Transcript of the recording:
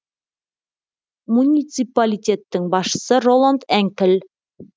муниципалитеттің басшысы роланд енкель